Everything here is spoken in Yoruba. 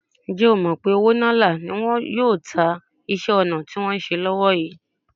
Ǹjẹ́ o mọ̀ pé òwó ńalá́ ni wọn yóò ta iṣẹ́-ọnà tí wọ́n ń ṣe lọ́wó yìí?